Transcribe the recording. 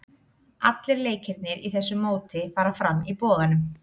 Allir leikirnir í þessu móti fara fram í Boganum.